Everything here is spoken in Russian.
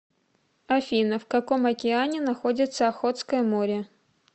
афина в каком океане находится охотское море